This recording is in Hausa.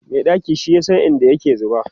Mai ɗaki shi yasa in da yake zuba